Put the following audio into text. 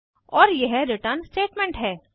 और यह return statement है